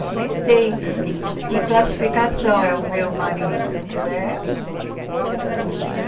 Eu nem sei que classificação é o meu marido, porque é um... São muitos.